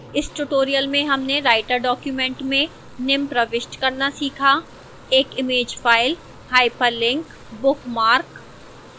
इस tutorial में हमने राइटर डॉक्यूमेंट में निम्न प्रविष्ट करना सीखा: